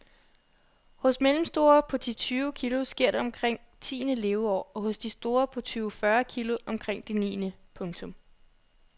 Hos mellemstore på ti tyve kilo sker det omkring tiende leveår og hos de store på tyve fyrre kilo omkring det niende. punktum